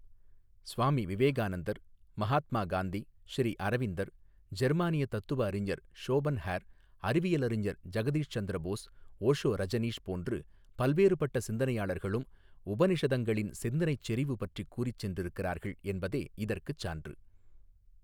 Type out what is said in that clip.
ஸ்வாமி விவேகானந்தர் மகாத்மா காந்தி ஸ்ரீ அரவிந்தர் ஜெர்மானிய தத்துவ அறிஞர் ஷோபன்ஹேர் அறிவியல் அறிஞர் ஜகதீஷ் சந்திர போஸ் ஓஷோ ரஜனீஷ் போன்று பல்வேறுபட்ட சிந்தனையாளர்களும் உபநிஷதங்களின் சிந்தனைச் செறிவு பற்றிக் கூறிச் சென்றிருக்கிறார்கள் என்பதே இதற்குச் சான்று.